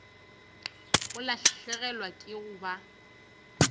o lahlegelwa ke go ba